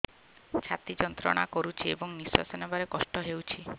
ଛାତି ଯନ୍ତ୍ରଣା କରୁଛି ଏବଂ ନିଶ୍ୱାସ ନେବାରେ କଷ୍ଟ ହେଉଛି